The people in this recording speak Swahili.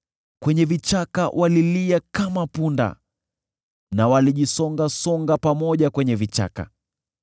Kwenye vichaka walilia kama punda, na walijisongasonga pamoja kwenye vichaka.